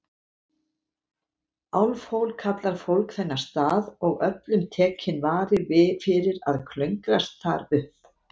Álfhól kallar fólk þennan stað, og öllum tekinn vari fyrir að klöngrast þar upp.